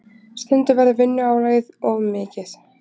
Stundum verður vinnuálagið of mikið.